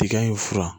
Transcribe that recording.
Tiga in furan